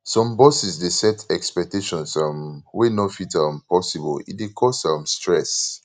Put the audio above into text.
some bosses dey set expectations um wey no fit um possible e dey cause um stress